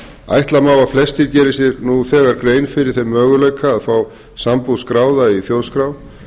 ætla má að flestir geri sér nú þegar grein fyrir þeim möguleika að fá sambúð skráða í þjóðskrá